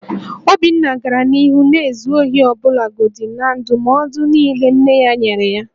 Obinna gara n'ihu na-ezu ohi ọbụlagodi na ndụmọdụ niile nne ya nyere ya